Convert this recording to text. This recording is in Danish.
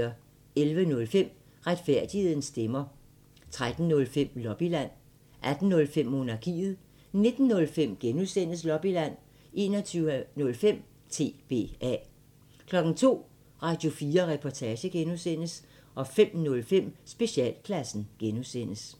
11:05: Retfærdighedens stemmer 13:05: Lobbyland 18:05: Monarkiet 19:05: Lobbyland (G) 21:05: TBA 02:00: Radio4 Reportage (G) 05:05: Specialklassen (G)